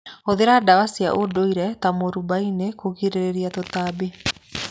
Hũthĩra ndawa cia ndũire ta mũarubaine kũgirĩrĩria tũtambi.